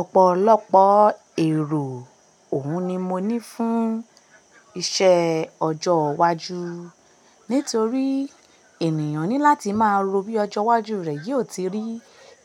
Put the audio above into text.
Ọ̀pọ̀lọpọ̀ èrò òun ni mo ní fún iṣẹ́ ọjọ́ iwájú nítorí ènìyàn ní láti máa rò bí ọjọ́ iwájú rẹ̀ yóò ti rí